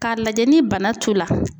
K'a lajɛ ni bana t'u la.